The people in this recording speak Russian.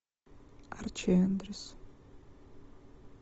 арчи эндрюс